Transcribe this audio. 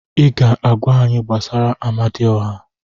Ị ga-agwa anyị gbasara Amadioha.